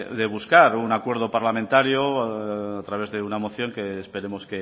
de buscar un acuerdo parlamentario a través de una moción que esperemos